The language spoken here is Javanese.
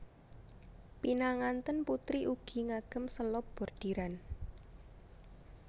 Pinangantèn putri ugi ngagem selop bordiran